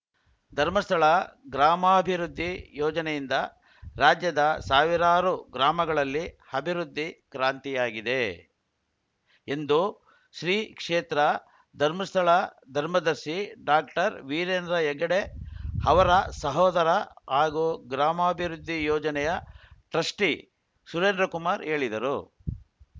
ಧರ್ಮಸ್ಥಳ ಗ್ರಾಮಾಭಿವೃದ್ಧಿ ಯೋಜನೆಯಿಂದ ರಾಜ್ಯದ ಸಾವಿರಾರು ಗ್ರಾಮಗಳಲ್ಲಿ ಅಭಿವೃದ್ಧಿ ಕ್ರಾಂತಿಯಾಗಿದೆ ಎಂದು ಶ್ರೀ ಕ್ಷೇತ್ರ ಧರ್ಮಸ್ಥಳ ಧರ್ಮದರ್ಶಿ ಡಾಕ್ಟರ್ವೀರೇಂದ್ರ ಹೆಗ್ಗಡೆ ಅವರ ಸಹೋದರ ಹಾಗೂ ಗ್ರಾಮಾಭಿವೃದ್ಧಿ ಯೋಜನೆಯ ಟ್ರಸ್ಟಿಸುರೇಂದ್ರಕುಮಾರ್‌ ಹೇಳಿದರು